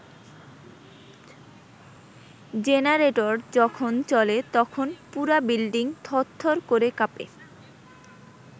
Generator যখন চলে তখন পুরা বিল্ডিং থরথর করে কাঁপে।